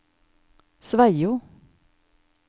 Sveio